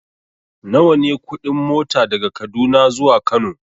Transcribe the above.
Nawa ne kuɗin mota daga Kaduna zuwa Kano?